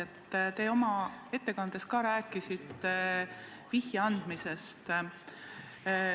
Te rääkisite oma ettekandes ka vihje andmisest.